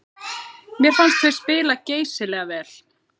Mér fannst við spila geysilega vel